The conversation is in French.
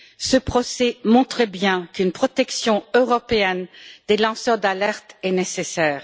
Ce procès montre bien qu'une protection européenne des lanceurs d'alerte est nécessaire.